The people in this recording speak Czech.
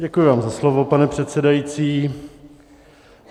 Děkuji vám za slovo, pane předsedající.